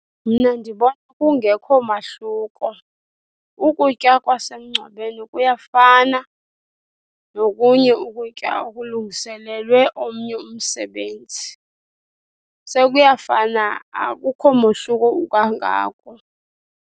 Mna ndibona kungekho mahluko, ukutya kwasemngcwabeni kuyafana nokunye ukutya okulungiselelwe omnye umsebenzi. Sekuyafana akukho mohluko ukangako.